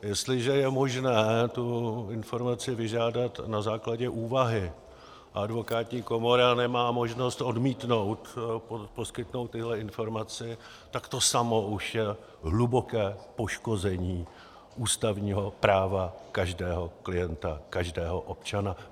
Jestliže je možné tu informaci vyžádat na základě úvahy a advokátní komora nemá možnost odmítnout poskytnout tyhle informace, tak to samo už je hluboké poškození ústavního práva každého klienta, každého občana.